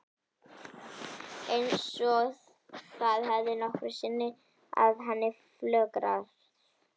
Eins og það hefði nokkru sinni að henni flögrað.